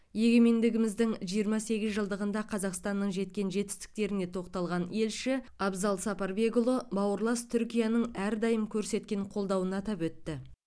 егемендігіміздің жиырма сегіз жылдығында қазақстанның жеткен жетістіктеріне тоқталған елші абзал сапарбекұлы бауырлас түркияның әрдайым көрсеткен қолдауын атап өтті